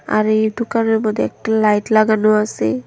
আর এই দোকানের মধ্যে একটা লাইট লাগানো আসে।